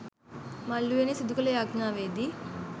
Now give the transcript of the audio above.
මල් උයනේ සිදු කළ යාච්ඤාවේදී